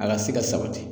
A ka se ka sabati